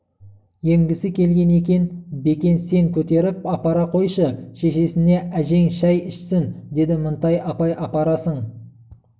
емгісі келген екен бекен сен көтеріп апара қойшы шешесіне әжең шай ішсін деді мінтай апай апарасың